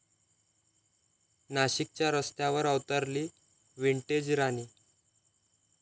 नाशिकच्या रस्त्यांवर अवतरली 'विंटेज राणी'!